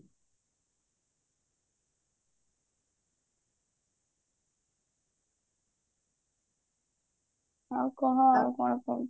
ଆଉ କହ ଆଉ କଣ କହୁଛୁ